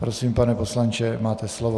Prosím, pane poslanče, máte slovo.